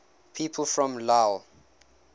people from lille